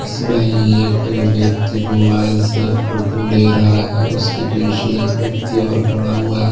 इसमें एक व्यक्ति मोबाइल से फोटो ले रहा है उसके पीछे एक व्यक्ति और पड़ा हुआ है।